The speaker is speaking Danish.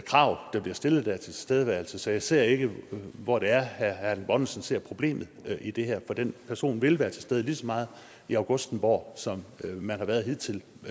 krav der bliver stillet der til tilstedeværelse så jeg ser ikke hvor det er herre erling bonnesen ser et problem i det her for den person vil være til stede lige så meget i augustenborg som man har været hidtil